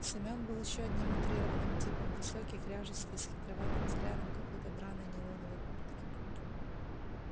семён был ещё одним утрированным типом высокий кряжистый с хитроватым взглядом в какой-то драной нейлоновой куртке